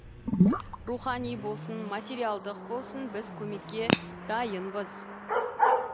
рухани болсын материалдық болсын біз көмекке дайынбыз